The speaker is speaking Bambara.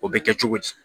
O bɛ kɛ cogo di